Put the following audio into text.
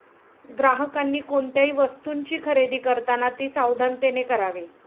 ग्राहकांनी कोणत्याही वस्तूंची खरेदी करताना ती सावधानतेने करावी.